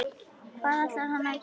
Hvað ætlar hann að gera?